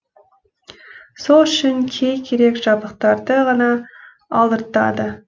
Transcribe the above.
сол үшін кей керек жабдықтарды ғана алдыртады